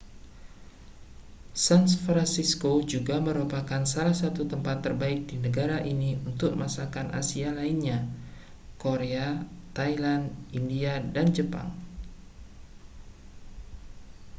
san francisco juga merupakan salah satu tempat terbaik di negara ini untuk masakan asia lainnya korea thailand india dan jepang